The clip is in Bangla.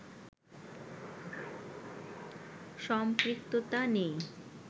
সম্পৃক্ততা নেই